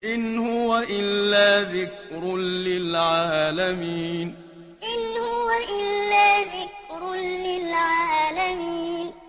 إِنْ هُوَ إِلَّا ذِكْرٌ لِّلْعَالَمِينَ إِنْ هُوَ إِلَّا ذِكْرٌ لِّلْعَالَمِينَ